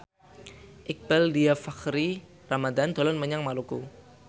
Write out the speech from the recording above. Iqbaal Dhiafakhri Ramadhan dolan menyang Maluku